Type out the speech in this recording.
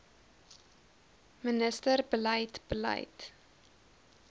minister beleid beleid